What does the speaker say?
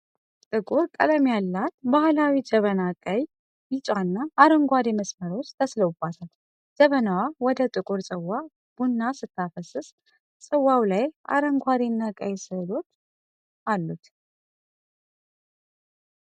ጥቁር ቀለም ያላት ባህላዊ ጀበና ቀይ፣ ቢጫና አረንጓዴ መስመሮች ተስለውባታል። ጀበናዋ ወደ ጥቁር ጽዋ ቡና ስታፈስስ፣ ጽዋው ላይ አረንጓዴና ቀይ ስዕሎች አሉት።